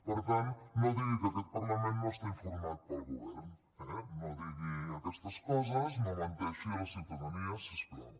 per tant no digui que aquest parlament no està informat pel govern no di gui aquestes coses no menteixi a la ciutadania si us plau